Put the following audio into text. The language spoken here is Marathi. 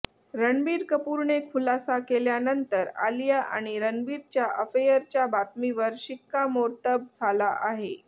रणबीर कपूरने खुलासा केल्यानंतर आलिया आणि रणबीरच्या अफेयरच्या बातमीवर शिक्कामोर्तब झाला आहे